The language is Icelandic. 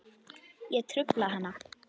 Ég trufla hana.